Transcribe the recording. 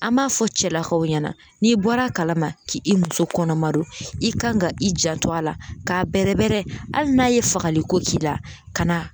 An b'a fɔ cɛlakaw ɲɛna n'i bɔra kalama k'i muso kɔnɔma don i kan ka i janto a la k'a bɛrɛbɛrɛ hali n'a ye fagali ko k'i la ka na